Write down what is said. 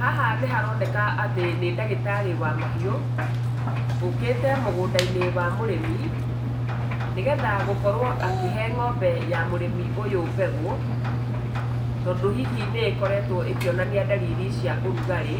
Haha nĩharoneka atĩ nĩ ndagĩtarĩ wa mahiũ, ũkĩte mũgũnda-inĩ wa mũrĩmi nĩguo akorwo akĩhe ng'ombe ya mũrĩmi ũyũ mbegũ. Tondũ hihi nĩkoretwo ĩkĩonania ndariri cia ũrugarĩ